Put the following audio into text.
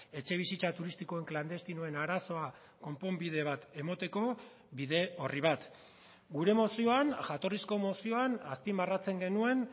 etxebizitza turistikoen klandestinoen arazoa konponbide bat emateko bide orri bat gure mozioan jatorrizko mozioan azpimarratzen genuen